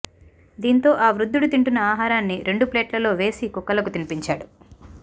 దీంతో ఆ వృద్ధుడు తింటున్న ఆహారాన్ని రెండు ప్లేట్ లలో వేసి కుక్కలకు తినిపించాడు